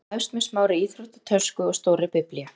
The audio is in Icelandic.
Það hefst með smárri íþróttatösku og stórri Biblíu.